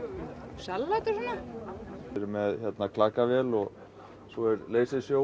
salat og svona við erum með klakavél og svo er leisersjó